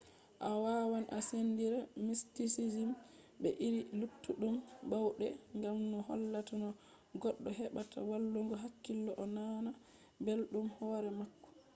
a wawan a sendira mistisizm be iri luttuɗum bauɗe gam no hollata no goɗɗo heɓata wallungo hakkilo o nana belɗum hore mako